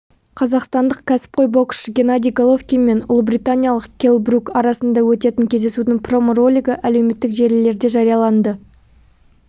қазақстандық кәсіпқой боксшы геннадий головкин мен ұлыбританиялық келл брук арасында өтетін кездесудің промо-ролигі әлеуметтік желілерде жарияланды